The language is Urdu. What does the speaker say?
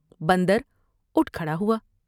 بندر اٹھ کھڑا ہوا ۔